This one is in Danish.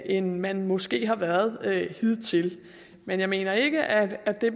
end man måske har været hidtil men jeg mener ikke at at det